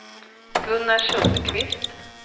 Gunnar Sundqvist